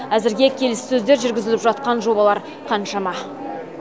әзірге келіссөздер жүргізіліп жатқан жобалар қаншама